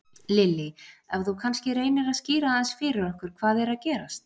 Lillý: Ef þú kannski reynir að skýra aðeins fyrir okkur hvað er að gerast?